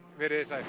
verið þið sæl